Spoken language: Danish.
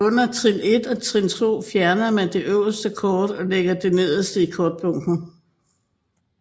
Under Trin 1 og Trin 2 fjerner man det højeste kort og lægger det nederst i kortbunken